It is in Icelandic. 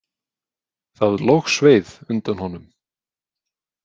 Það logsveið undan honum.